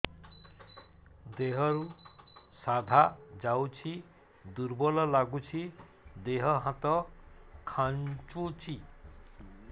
ଦେହରୁ ସାଧା ଯାଉଚି ଦୁର୍ବଳ ଲାଗୁଚି ଦେହ ହାତ ଖାନ୍ଚୁଚି